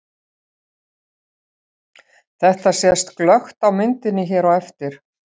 Þetta sést glöggt á myndinni hér á eftir.